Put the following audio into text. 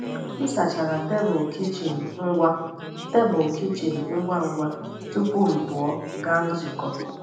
M sachachara tebụl kichin ngwa tebụl kichin ngwa ngwa tupu m pụọ gaa nzukọ.